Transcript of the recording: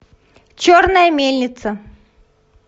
черная мельница